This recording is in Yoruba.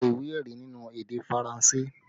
Gba ìwé ẹ̀rí nínú èdè Faranse!